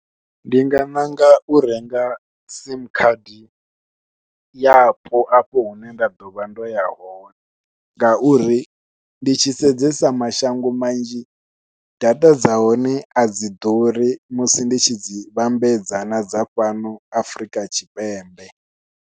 Ndi nga ṋanga u renga simu khadi yapo afho hune nda ḓovha ndo ya hone, ngauri ndi tshi sedzesa mashango manzhi data dza hone a dzi ḓuri musi ndi tshi dzi vhambedza na dza fhano Afrika Tshipembe.